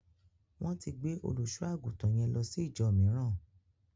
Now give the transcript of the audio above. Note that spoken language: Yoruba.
Wón ti gbé olùṣọ-àgùntàn yẹn lọ sí íjọ mííràn.